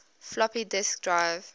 floppy disk drive